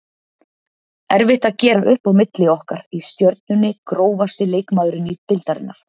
Erfitt að gera upp á milli okkar í Stjörnunni Grófasti leikmaður deildarinnar?